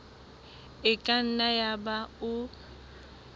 e ka nna yaba o